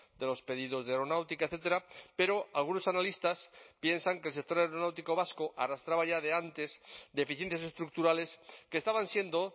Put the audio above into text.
de los pedidos de aeronáutica etcétera pero algunos analistas piensan que el sector aeronáutico vasco arrastraba ya de antes deficiencias estructurales que estaban siendo